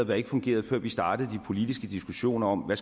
der ikke fungerede før vi startede de politiske diskussioner om hvad